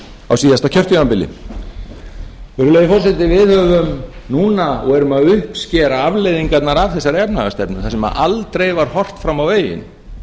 á síðasta kjörtímabili virðulegi forseti við höfum núna og erum að uppskera afleiðingarnar af þessari efnahagsstefnu þar sem aldrei var horft fram á veginn